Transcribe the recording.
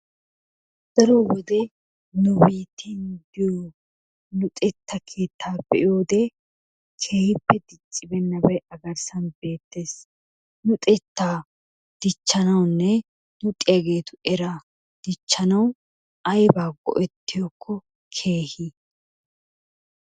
Daro wode nu biitteeyyoo luxetta keettaa be'iyode keehippe diccibeennabay a garssan beettes. Luxettaa dichchanawunne luxiyageetu eraa dichchanawu ayibaa go'ettiyakko keehi?